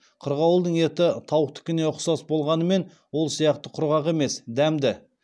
қырғауылдың еті тауықтыкіне ұқсас болғанымен ол сияқты құрғақ емес дәмді